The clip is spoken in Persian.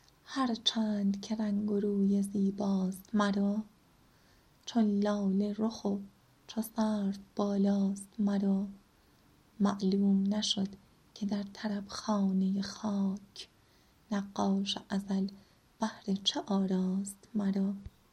هر چند که رنگ و روی زیباست مرا چون لاله رخ و چو سرو بالاست مرا معلوم نشد که در طرب خانه خاک نقاش ازل بهر چه آراست مرا